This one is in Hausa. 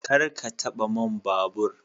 Kar ka taba man babur.